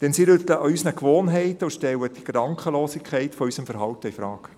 Denn sie rütteln an unseren Gewohnheiten und stellen die Gedankenlosigkeit unseres Verhaltens infrage.